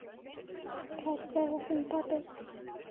Kær kveðja, þinn pabbi.